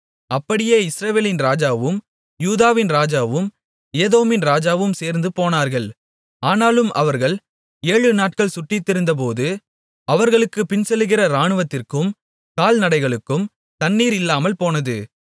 அப்படியே இஸ்ரவேலின் ராஜாவும் யூதாவின் ராஜாவும் ஏதோமின் ராஜாவும் சேர்ந்து போனார்கள் ஆனாலும் அவர்கள் ஏழுநாட்கள் சுற்றித்திரிந்தபோது அவர்களுக்குப் பின்செல்லுகிற இராணுவத்திற்கும் கால்நடைகளுக்கும் தண்ணீர் இல்லாமல்போனது